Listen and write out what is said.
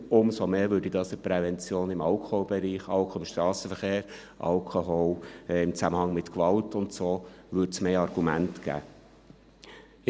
Umso mehr würde dies in der Prävention im Alkoholbereich – Alkohol im Strassenverkehr, Alkohol im Zusammenhang mit Gewalt und so weiter – mehr Argumente geben.